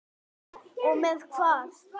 Og með hvað?